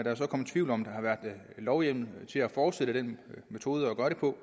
er så kommet tvivl om der har været lovhjemmel til at fortsætte den metode at gøre det på